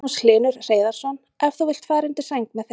Magnús Hlynur Hreiðarsson: En þú vilt fara undir sæng með þeim?